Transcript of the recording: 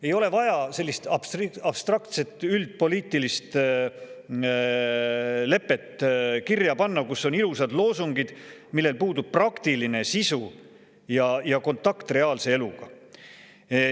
Ei ole vaja sellist abstraktset üldpoliitilist lepet kirja panna, kus on ilusad loosungid, millel puudub praktiline sisu ja kontakt reaalse eluga.